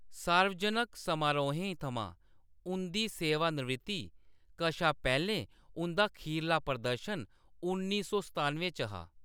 सार्वजनक समारोहें थमां उंʼदी सेवानिवृत्ति कशा पैह्‌‌‌लें, उंʼदा खीरला प्रदर्शन उन्नी सौ सतानुएं च हा।